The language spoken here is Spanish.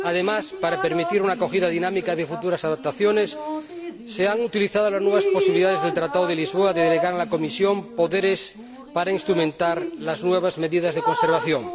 Además, para permitir una acogida dinámica de futuras adaptaciones, se han utilizado las nuevas posibilidades del Tratado de Lisboa de delegar a la Comisión poderes para instrumentar las nuevas medidas de conservación.